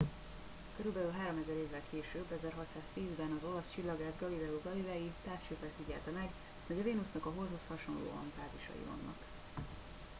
körülbelül háromezer évvel később 1610 ben az olasz csillagász galileo galilei távcsővel figyelte meg hogy a vénusznak a holdhoz hasonlóan fázisai vannak